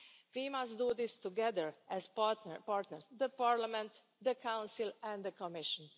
We must do this together as partners the Parliament, the Council and the Commission.